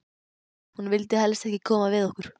Hún vildi helst ekki koma við okkur.